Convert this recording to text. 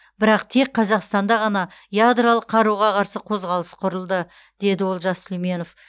бірақ тек қазақстанда ғана ядролық қаруға қарсы қозғалыс құрылды деді олжас сүлейменов